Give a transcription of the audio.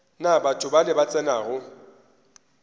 na batho bale ba tsenago